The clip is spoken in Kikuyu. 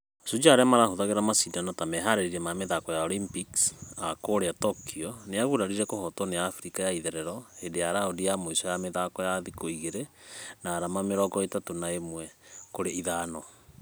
Shujaa arĩa marahũthĩraga mashidano ta meharĩria ma mĩthako ya olympics kũrĩa tokyo nĩyaguragurarire kũhotwo nĩ africa ya itherero hĩndĩ ya raundi ya mũisho mĩthako ya thikũ igĩrĩ na arama mĩrongo ĩtatũ na ĩmwe kũrĩ ithano .